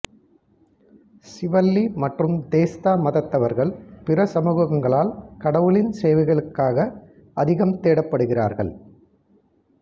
சிவள்ளி மற்றும் தேஸ்தா மத்வர்கள் பிற சமூகங்களால் கடவுளின் சேவைகளுக்காக அதிகம் தேடப்படுகிறார்கள்